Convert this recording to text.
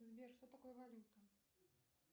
сбер что такое валюта